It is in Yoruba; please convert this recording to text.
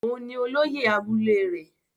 Òun ni olóyè abúlé rẹ̀.